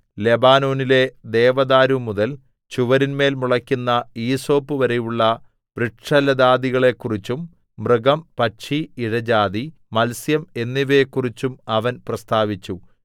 ലെബാനോനിലെ ദേവദാരുമുതൽ ചുവരിന്മേൽ മുളെക്കുന്ന ഈസോപ്പുവരെയുള്ള വൃക്ഷലതാദികളെക്കുറിച്ചും മൃഗം പക്ഷി ഇഴജാതി മത്സ്യം എന്നിവയെക്കുറിച്ചും അവൻ പ്രസ്താവിച്ചു